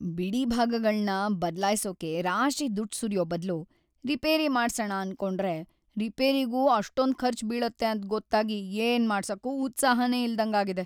ಬಿಡಿಭಾಗಗಳ್ನ ಬದ್ಲಾಯ್ಸೋಕೆ ರಾಶಿ ದುಡ್ಡ್‌ ಸುರ್ಯೋ ಬದ್ಲು ರಿಪೇರಿ ಮಾಡ್ಸಣ ಅನ್ಕೊಂಡ್ರೆ ರಿಪೇರಿಗೂ ಅಷ್ಟೊಂದ್‌ ಖರ್ಚ್‌ ಬೀಳತ್ತೆ ಅಂತ್‌ ಗೊತ್ತಾಗಿ ಏನ್‌ ಮಾಡ್ಸಕ್ಕೂ ಉತ್ಸಾಹನೇ ಇಲ್ದಂಗಾಗಿದೆ.